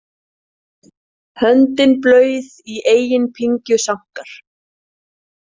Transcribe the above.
Höndin blauð í eigin pyngju sankar.